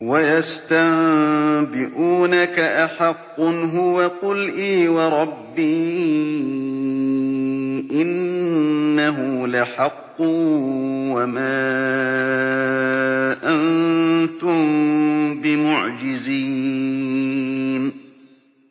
۞ وَيَسْتَنبِئُونَكَ أَحَقٌّ هُوَ ۖ قُلْ إِي وَرَبِّي إِنَّهُ لَحَقٌّ ۖ وَمَا أَنتُم بِمُعْجِزِينَ